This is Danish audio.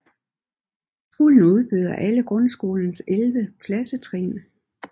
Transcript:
Skolen udbyder alle grundskolens 11 klassetrin